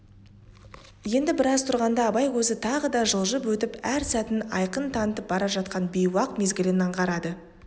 енді біраз тұрғанда абай көзі тағы да жылжып өтіп әр сәтін айқын танытып бара жатқан бейуақ мезгілін аңғарады